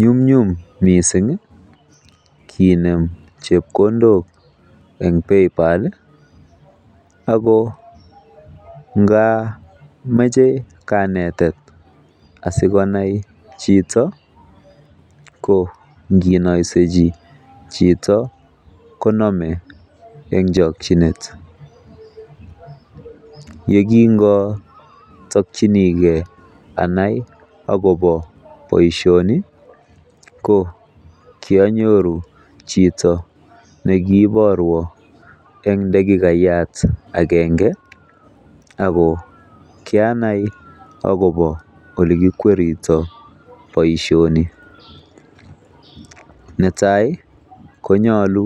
Nyumnyum mising kinem chepkondok en Paypal ago ngamoche kanetet asikonai chito, ko inginoisechi chito konome en chokinet. Ye kinotokyinige anai agobo boisioni, ko kionyoru chito ne kiborwon en dakikayat agenge age kianai agobo olikikwerito boisioni. Netai konyolu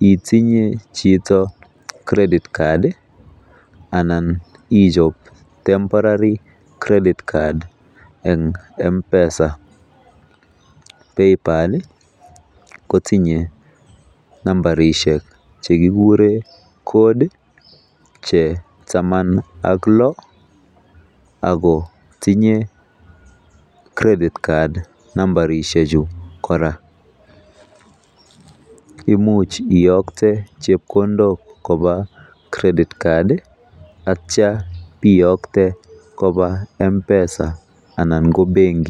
itinye chito credit card anan ichob temporary credit card en M-Pesa. Paypal kotinye nambarisiek che kigure code che taman ak lo ago tinye credit card nmabarishek chu kora. Imuch iyokte chepkondok koba credit card ak kityo iyokte koba M-Pesa anan ko benki.